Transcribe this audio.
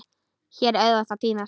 Hér er auðvelt að týnast.